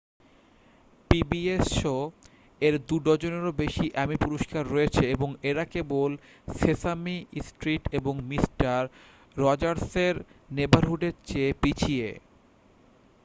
pbs শো-এর দু-ডজনেরও বেশি এ্যামি পুরষ্কার রয়েছে এবং এরা কেবল সেসামি স্ট্রিট এবং মিস্টার রজার্সের নেবারহুডের চেয়ে পিছিয়ে